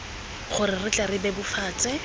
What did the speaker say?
gore re tle re bebofatse